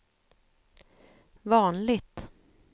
vanligt